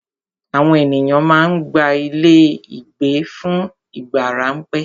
Àwọn ènìyàn má ń gba ilé ìgbé fún ìgbà ráńpẹ́.